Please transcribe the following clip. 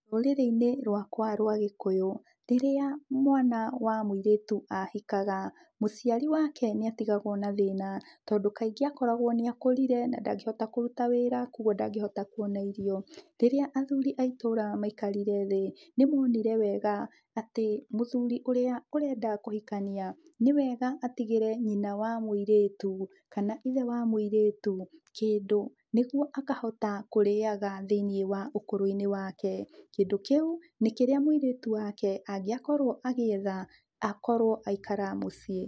Rũrĩrĩ-inĩ rwakwa rwa gĩkũyũ, rĩrĩa mwana wa mũirĩtu ahikaga, mũciari wake nĩ atigagwo na thĩna, tondũ kaingĩ akoragwo nĩ akũrire na ndangĩhota kũruta wĩra koguo ndangĩhota kuona irio. Rĩrĩa athuri a itũra maikarire thĩ, nĩ monire wega atĩ mũthuri ũrĩa arenda kũhikania, nĩ wega atigĩre nyina wa mũirĩtu kana ithe wa mũirĩtu kĩndũ nĩguo akahota kũrĩaga thĩiniĩ wa ũkũrũ-inĩ wake. Kĩndũ kĩu nĩ kĩrĩa mũirĩtu wake angĩakorwo agĩetha akorwo aikara muciĩ.